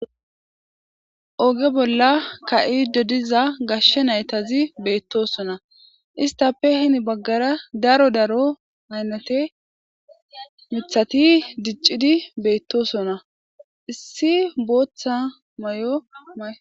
Oge bola kayidi dizza gashe nayti betossona estappe hini bagara daro daro aynate mithati dicidi betosona issi botha mayo mayi